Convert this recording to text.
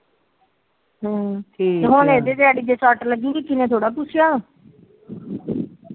ਹਮ ਚੱਲ ਠੀਕ ਹੁਣ ਇਹਦੇ ਸੱਟ ਲੱਗੀ ਕਿਸੇ ਨੇ ਥੋਰਾ ਪੁਛਿਆ